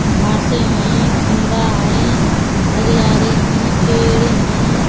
घासें हईं खम्बा हईं हरियारी हईं पेडें हईं।